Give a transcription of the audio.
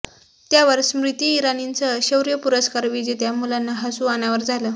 त्यावर स्मृती इराणींसह शौर्य पुरस्कार विजेत्या मुलांना हसू अनावर झालं